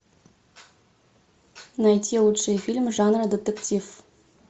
найти лучшие фильмы жанра детектив